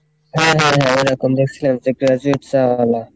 হ্যাঁ হ্যাঁ হ্যাঁ ওরকম দেখসিলাম যে graduate চা ওয়ালা,